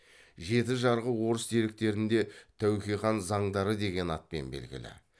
жеті жарғы орыс деректерінде тәуке хан заңдары деген атпен белгілі